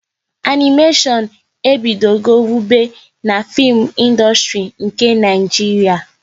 Animéshon ebido go wube n'fim ịndustri nke Naijiria